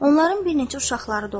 Onların bir neçə uşaqları da olur.